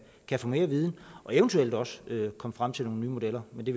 kan få mere at vide og eventuelt også komme frem til nogle nye modeller men det